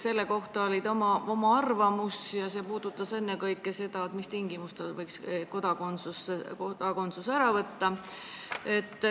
... selle kohta oma arvamus ja see puudutas ennekõike seda, mis tingimustel võiks Eesti kodakondsuse ära võtta.